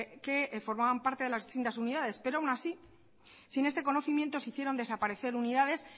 que formaban parte de las distintas unidades pero aun así sin este conocimiento se hicieron desaparecer unidades